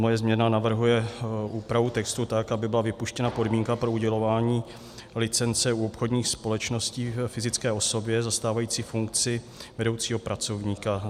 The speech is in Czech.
Moje změna navrhuje úpravu textu tak, aby byla vypuštěna podmínka pro udělování licence u obchodních společností - fyzické osobě zastávající funkci vedoucího pracovníka.